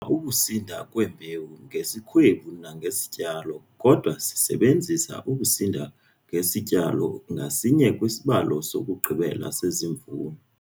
ukusinda kwembewu ngesikhwebu nangesityalo kodwa sisebenzisa ukusinda ngesityalo ngasinye kwisibalo sokugqibela sesivuno.